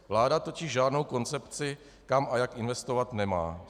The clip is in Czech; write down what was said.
Vláda totiž žádnou koncepci, kam a jak investovat, nemá.